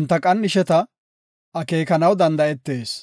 enta qan7isheta akeekanaw danda7etees.